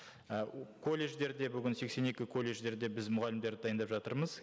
і колледждерде бүгін сексен екі колледждерде біз мұғалімдерді дайындап жатырмыз